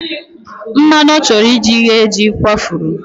Mmanụ ọ chọrọ iji ghee jị kwafuru.